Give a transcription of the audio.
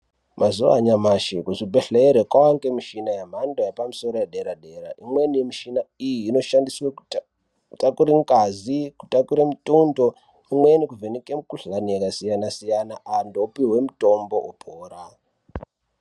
Mazuva anyamashi kuzvibhedhlera kwakuwanikwa mishina yemhando yepamusoro yedera dera imweni yemushina iyi inoshandiswa kutakura ngazi kutakura mutundo imweni kuvheneke mikuhlani yakasiyana-siyana antu opihwe mutombo opora.